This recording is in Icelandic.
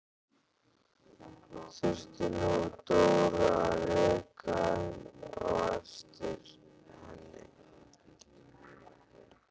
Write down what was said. Þurfti nú Dóra að reka á eftir henni!